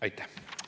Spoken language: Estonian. Aitäh!